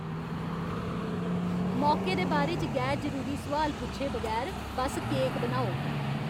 मौके दे बारे च गैर जरूरी सुआल पुच्छे बगैर बस्स केक बनाओ।